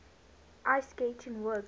ice skating works